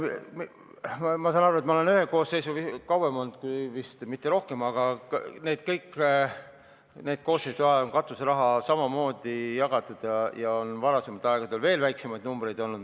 Ma olen vist ühe koosseisu kauem siin olnud, mitte rohkem, aga kõikide nende koosseisude ajal on katuseraha samamoodi jagatud ja varasematel aegadel on veel väiksemaid numbreid olnud.